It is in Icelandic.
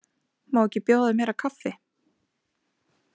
Má ekki bjóða þér meira kaffi?